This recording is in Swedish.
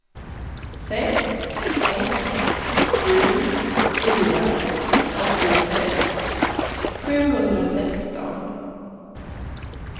sex ett sju fyra åttiosex sjuhundrasexton